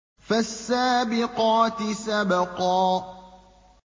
فَالسَّابِقَاتِ سَبْقًا